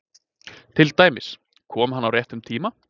Til dæmis: Kom hann á réttum tíma?